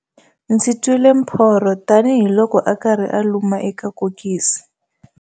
Ndzi twile mphorho tanihiloko a karhi a luma eka kokisi